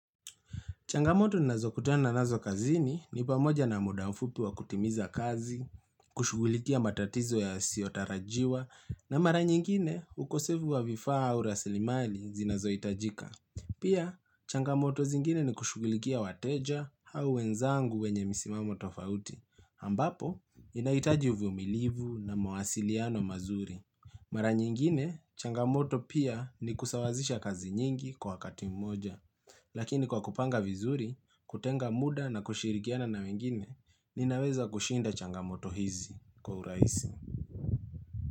Changamoto nazokutana nazo kazini ni pamoja na muda mfupi wa kutimiza kazi, kushugulikia matatizo yasiotarajiwa, na mara nyingine ukosefu wa vifaa au rasilimali zinazo itajika. Pia, changamoto zingine ni kushugulikia wateja au wenzangu wenye misimamo tofauti, ambapo inaitaji uvumilivu na mwasiliano mazuri. Mara nyingine, changamoto pia ni kusawazisha kazi nyingi kwa wakati mmoja. Lakini kwa kupanga vizuri, kutenga muda na kushirikiana na wengine, ninaweza kushinda changamoto hizi kwa uraisi.